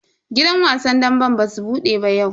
Gidan wasan damben basu bude ba yau.